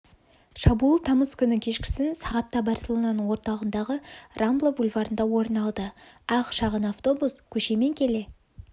шабуыл тамыз күні кешкісін сағатта барселонаның орталығындағы рамбла бульварында орын алды ақ шағын автобус көшемен келе